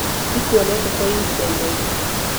Ndikuonete kwa ihinda iraihu